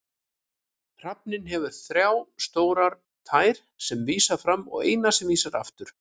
Hrafninn hefur þrjá stórar tær sem vísa fram og eina sem vísar aftur.